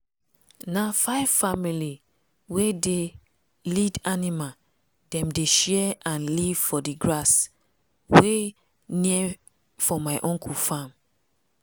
na five family wey dey lead animal dem dey share and live for d grass wey near for my uncle farm.